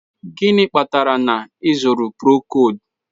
Gịnị kpatara na ị zụrụ Procold?